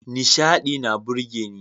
Nishaɗi na burgeni.